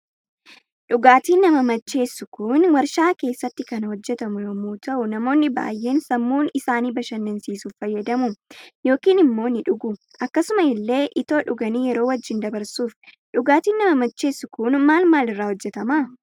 Dhugaatiin nama macheessu Kun waarshaa keessatti kan hojjetamu yommuu ta'u namoonni baay'een sammun isaani bashannansiisuuf fayyadamu yookaan immo ni dhugu akkasumas ille itoo dhuganii yero wajjin dabarsuuf. Dhugaatiin nama macheessu Kun maal maal irraa hojjetama?